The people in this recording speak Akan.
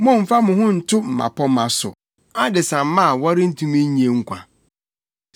Mommfa mo ho nto mmapɔmma so, adesamma a wɔrentumi nnye nkwa.